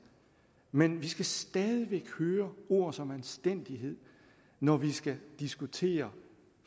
men vi skal stadig væk høre ord som anstændighed når vi skal diskutere